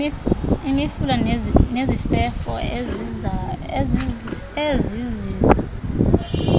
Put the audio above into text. imifula nezifefo eziziza